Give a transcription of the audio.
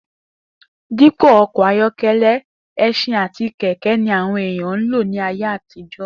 Dípò o̩kò̩ ayó̩ke̩lé̩, e̩s̩in àti kè̩ké̩-ogun ni àwo̩n èèyàn ń lò ní ayé àtijó̩